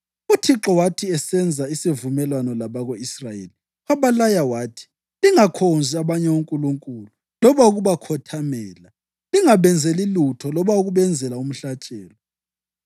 UThixo wathi esenza isivumelwano labako-Israyeli, wabalaya wathi, “Lingakhonzi abanye onkulunkulu loba ukubakhothamela, lingabenzeli lutho loba ukubenzela umhlatshelo.